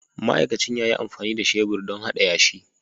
Ma'aikacin ya yi amfani da shebur don hada yashi.